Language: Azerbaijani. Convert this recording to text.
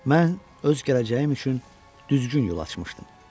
Mən öz gələcəyim üçün düzgün yol açmışdım.